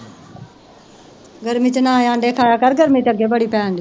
ਗਰਮੀ ਚ ਨਾ ਆਂਡੇ ਖਾਏਆ ਕਰ ਗਰਮੀ ਤੇ ਅੱਗੇ ਹੀ ਬੜੀ ਪੈਣ ਡੀ